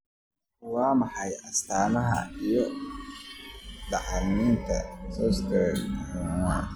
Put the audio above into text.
Waa maxay astamaha iyo calaamadaha spondylothoraciga dysostosiska?